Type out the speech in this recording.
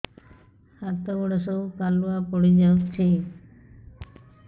ହାତ ଗୋଡ ସବୁ କାଲୁଆ ପଡି ଯାଉଛି